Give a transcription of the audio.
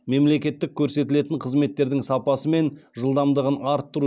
мемлекеттік көрсетілетін қызметтердің сапасын мен жылдамдығын арттыру